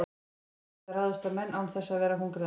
úlfar geta ráðist á menn án þess að vera hungraðir